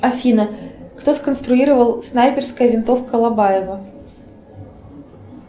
афина кто сконструировал снайперская винтовка лобаева